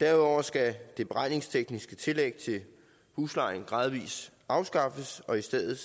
derudover skal det beregningstekniske tillæg til huslejen gradvis afskaffes og i stedet